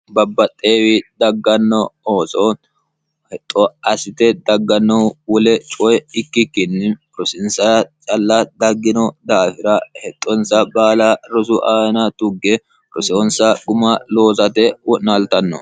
babbaxxeewi dagganno ooso hexxo assite daggannohu wole coye ikkikkinni rosinsa calla daggino daafira hexxonsa baala rosu aana tugge krosyoonsa guma loosate wo'naaltanno